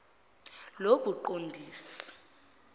lobuqondisi